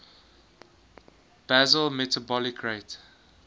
basal metabolic rate